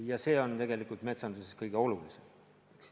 Samas see on tegelikult metsanduses kõige olulisem.